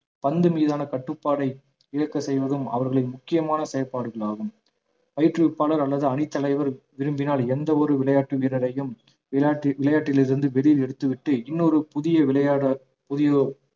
பந்து மீதான கட்டுப்பாடை இழக்க செய்வதும் அவர்களின் முக்கியமான செயல்பாடுகளாகும் பயிற்றுவிப்பாளர் அல்லது அணி தலைவர் விரும்பினால் எந்த ஒரு விளையாட்டு வீரரையும் விளையாட்டு~ விளையாட்டில் இருந்து வெளியில் எடுத்துவிட்டு இன்னொரு புதிய விளையாட புதிய